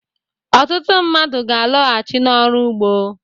Ọtụtụ mmadụ ga-alọghachi n'ọrụ ụgbọ.